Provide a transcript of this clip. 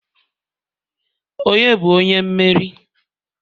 onye bu onye mmeri?